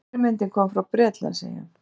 Fyrirmyndin kom frá Bretlandseyjum.